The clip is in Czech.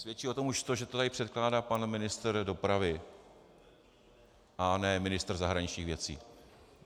Svědčí o tom už to, že to tady předkládá pan ministr dopravy a ne ministr zahraničních věcí.